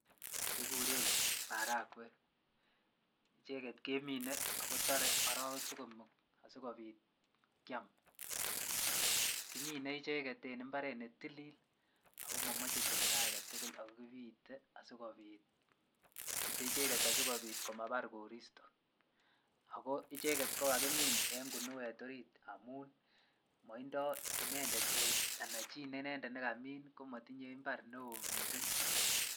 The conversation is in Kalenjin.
Kikuren marakwek icheket kemine ak ko toree orowek somok asikobit Kiam, kimine icheket en imbaret be tilil ak ko momoche timndo aketukul ak ko kibiite asikobit kibire icheket asikobit komabar koristo ak ko icheket ko kakimiin en kinuet oriit amun motindo inendet anan chii nekamin inendet komotinye mbar neoo mising.